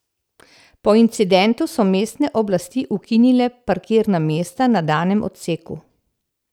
Po incidentu so mestne oblasti ukinile parkirna mesta na danem odseku.